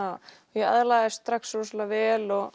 ég aðlagaðist strax rosalega vel og